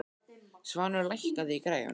Svanur, lækkaðu í græjunum.